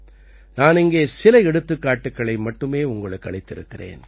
நான் இங்கே சில எடுத்துக்காட்டுக்களை மட்டுமே உங்களுக்கு அளித்திருக்கிறேன்